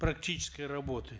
практической работы